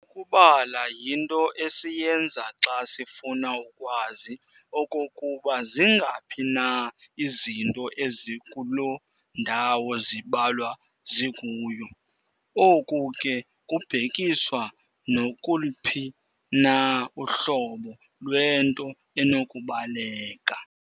Ukubala yinto esiyenza xa sifuna ukwazi okokuba zingaphi na izinto ezikuloo ndawo zibalwa zikuyo, oku ke kubhekiswa nakuluphi na uhlobo lwento enokubaleka.